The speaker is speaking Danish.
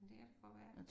Men det kan da godt være